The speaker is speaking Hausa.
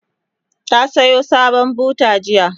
ta Sayo sabon buta jiya